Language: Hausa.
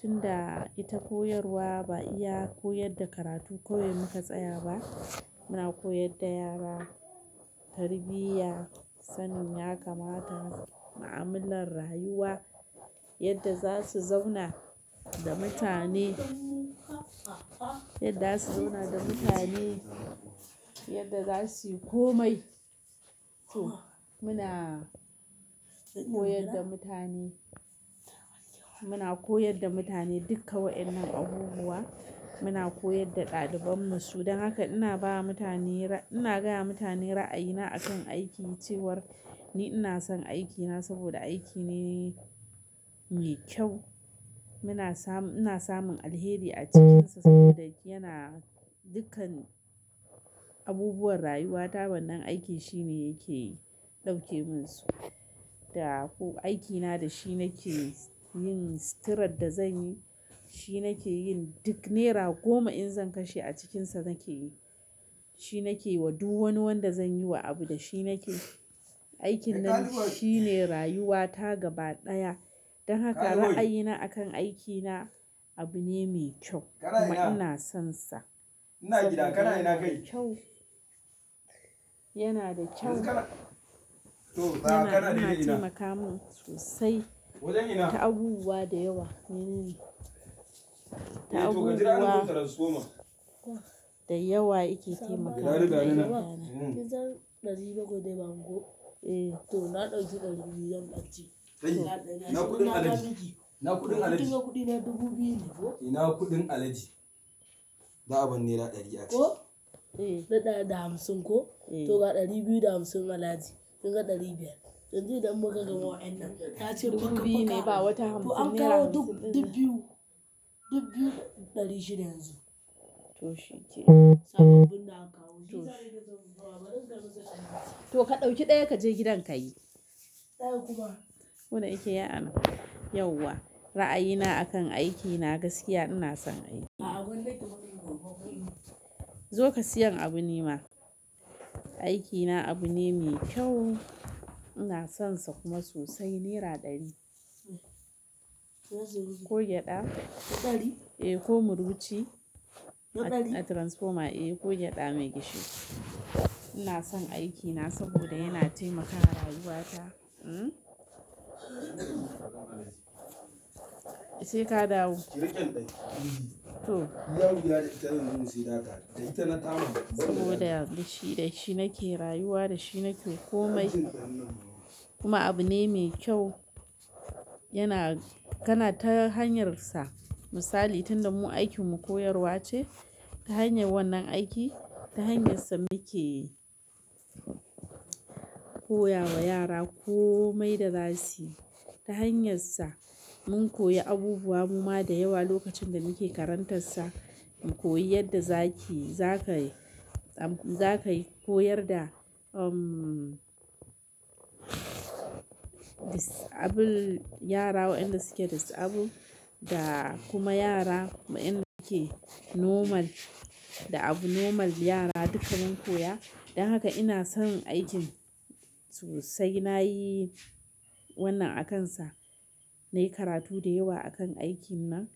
tun da ita koyarwa ba iya koyar da karatu kawai muka tsaya ba. Muna koyar da yara tarbiyya, sanin ya kamata, mu'amalar rayuwa yadda za su zauna da mutane, yadda za su zauna da mutane, yadda za su yi komai. To muna koyar da mutane, muna koyar da mutane duka wa'innan abubuwa, muna koyar da ɗalibanmu. Don haka ina ba mutane ra-- ina gaya mutane ra'ayina akan aiki cewar ni ina son aikina saboda aiki ne mai kyau. Muna samu, ina samun alheri a cikinsa saboda yana dukkan abubuwan rayuwata wannan aiki shine yake ɗauke min su. Da ko aikina da shi nake yin suturat da zan yi, shi nake yin duk naira goma in zan kashe a cikinsa nake yi. Shi nake yi wa duk wani wanda zan yi wa abu da shi nake yi. Aikin nan shi ne rayuwata gaba ɗaya. Don haka ra'ayina akan aikina abu ne mai kyau kuma ina sonsa. Yana da kyau, yana, yana taimaka min sosai ta abubuwa da yawa. Da abubuwa da yawa yake taimaka tun alhaji. To shi kenan. Kuma da yake yayi arha yauwa. Ra'ayina akan aikina gaskiya ina son aiki. Zo ka siyan abu nima. Aikina abu ne mai kyau, ina sonsa kuma sosai. Naira ɗari. Ko gyaɗa. Eh, ko muruci a transformer. Eh ko gyaɗa mai gishiri. Ina son aikina saboda yana taimaka ma rayuwata, mm? Sai ka dawo. To. Saboda da shi nake rayuwa, da shi nake komai. Kuma abu ne mai kyau. Yana, kana ta hanyarsa. Misali tunda mu aikin mu koyarwa ce, ta hanyar wannan aiki, ta hanyarsa muke koya wa yara komai da zasu yi. Ta hanyarsa mun koyi abubuwa muma da yawa lokacin da muke karantarsa. Mu koyi yadda za ki, za ka yi, za ka yi, koyar da, dis-- abun yara wa'inda suke disable da kuma yara wa'inda ke normal da abu normal yara duka mun koya. Don haka ina son aikin sosai. Na yi wannan akansa. Na yi karatu da yawa akan aikin nan.